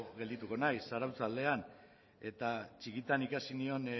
geldituko naiz zarautz aldean eta txikitan ikasi nion